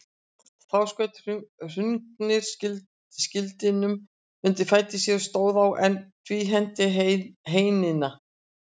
Þá skaut Hrungnir skildinum undir fætur sér og stóð á, en tvíhenti heinina.